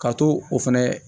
Ka to o fɛnɛ